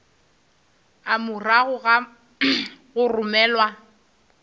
a morago ga go romelwa